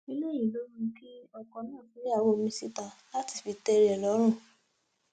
ó léyìí ló mú kí ọkọ náà fẹyàwó míín síta láti lè tẹ ara ẹ lọrùn